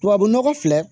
Tubabu nɔgɔ filɛ